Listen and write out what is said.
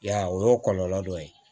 I y'a ye o y'o kɔlɔlɔ dɔ ye